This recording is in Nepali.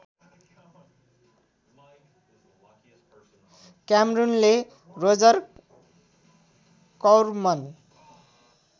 क्यामरूनले रोजर कौर्मन